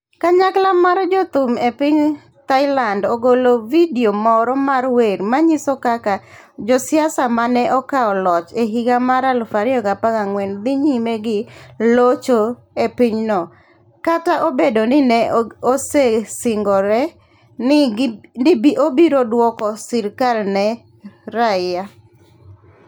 Kanyakla moro mar jothum e piny Thailand ogolo vidio moro mar wer manyiso kaka josiasa ma ne okawo loch e higa mar 2014 dhi nyime gi locho e pinyno kata obedo ni ne osesingore ni obiro duoko sirkal ne raia.